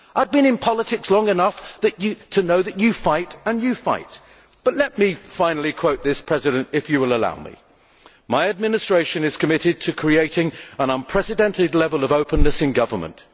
I have been in politics long enough to know that you fight and you fight. Let me finally quote this President, if you will allow me My Administration is committed to creating an unprecedented level of openness in Government.